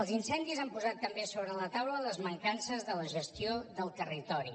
els incendis han posat també sobre la taula les mancances de la gestió del territori